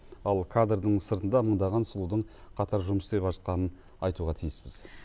ал кадрдың сыртында мыңдаған сұлудың қатар жұмыс істеп жатқанын айтуға тиіспіз